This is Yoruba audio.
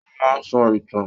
Ó máa ń sọ ìtàn